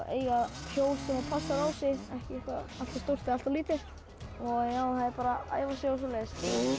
eiga hjól sem passar á sig ekki eitthvað allt of stórt eða allt of lítið það er bara að æfa sig og svoleiðis